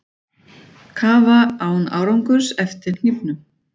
Kafa án árangurs eftir hnífnum